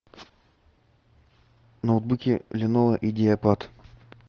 ноутбуки леново идеапад